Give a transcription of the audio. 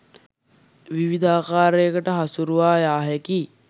විවිධ ආකාරයකට හසුරුවා යා හැකියි.